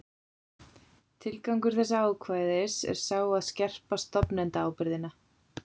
Tilgangur þessa ákvæðis er sá að skerpa stofnendaábyrgðina.